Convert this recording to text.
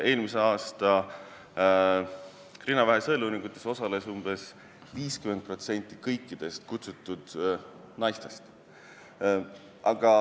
Eelmise aasta rinnavähi sõeluuringutes osales umbes 50% kõikidest kutsutud naistest.